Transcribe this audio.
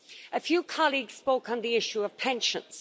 A few colleagues spoke on the issue of pensions.